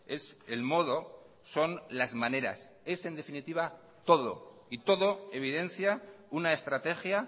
es el modo son las maneras es en definitiva todo y todo evidencia una estrategia